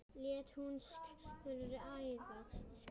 Hét hún Skrækja Skyr?